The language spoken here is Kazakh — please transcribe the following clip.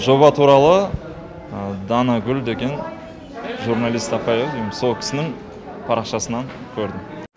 жоба туралы данагүл деген журналист апай ау деймін сол кісінің парақшасынан көрдім